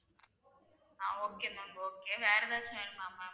ஆஹ் okay ma'am okay வேற ஏதாச்சும் வேணுமா ma'am